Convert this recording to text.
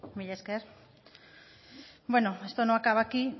hitza esto no acaba aquí